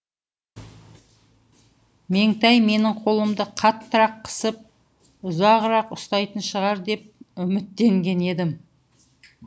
меңтай менің қолымды қаттырақ қысып ұзағырақ ұстайтын шығар деп үміттенген едім